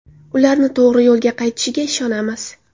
Ular to‘g‘ri yo‘lga qaytishiga ishonamiz.